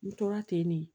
N tora ten ne